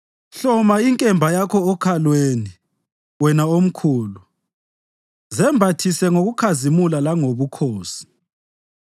Hloma inkemba yakho okhalweni, wena omkhulu; zembathise ngokukhazimula langobukhosi.